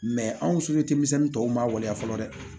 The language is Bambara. anw denmisɛnnin tɔw ma waleya fɔlɔ dɛ